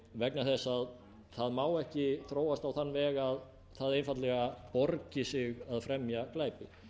vegna þess að það má ekki þróast á þann veg að það einfaldlega borgi sig að fremja glæpi